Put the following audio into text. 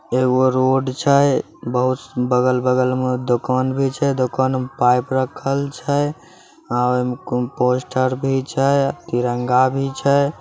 एगो रोड छै बहुत बगल-बगल में दोकान भी छै दोकान में पाइप रखल छै ओय में पोस्टर भी छै तिरंगा भी छै।